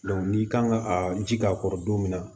n'i kan ka a ji k'a kɔrɔ don min na